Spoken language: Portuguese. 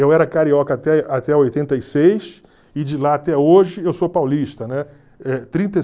Eu era carioca até até oitenta e seis e de lá até hoje eu sou paulista, né?